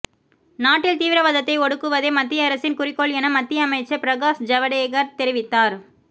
நாட்டில் தீவிரவாதத்தை ஒடுக்குவதே மத்திய அரசின் குறிக்கோள் என மத்திய அமைச்சர் பிரகாஷ் ஜவடேகர் தெரிவித்தார்